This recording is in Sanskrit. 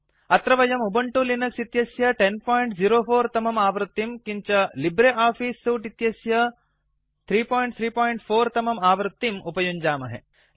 अत्र वयम् उबंटु लिनक्स इत्यस्य 1004 तमम् आवृत्तिं किञ्च लिब्रे आफिस् सूट् अस्य 334 तमम् आवृत्तिं उपयुञ्जामहे